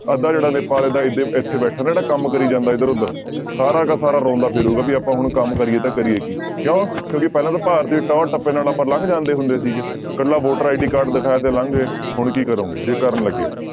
ਅੱਧਾ ਜਿਹੜਾ ਨੇਪਾਲ ਇੱਥੇ ਬੈਠਾ ਨਾ ਜਿਹੜਾ ਕੰਮ ਕਰੀ ਜਾਂਦਾ ਇੱਧਰ ਉੱਧਰ, ਸਾਰਾ ਦਾ ਸਾਰਾ ਰੋਂਦਾ ਫਿਰੂਗਾ ਵੀ ਆਪਾਂ ਹੁਣ ਕੰਮ ਕਰੀਏ ਤਾਂ ਕਰੀਏ ਕੀ ਕਿਉਂ ਕਿਉਂਕਿ ਪਹਿਲਾਂ ਤਾਂ ਭਾਰਤੀ ਟੋਰ ਟੱਪ ਨਾਲ ਆਪਾਂ ਲੰਘ ਜਾਂਦੇ ਹੁੰਦੇ ਸੀਗੇ ਇਕੱਲਾ voter ID card ਦਿਖਾ ਕੇ ਲੰਘ ਗਏ ਹੁਣ ਕੀ ਕਰੋਂਗੇ ਜੇ ਕਰਨ ਲੱਗੇ।